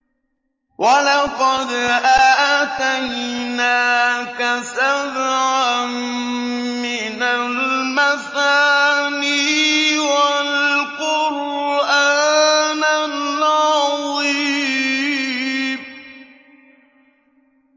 وَلَقَدْ آتَيْنَاكَ سَبْعًا مِّنَ الْمَثَانِي وَالْقُرْآنَ الْعَظِيمَ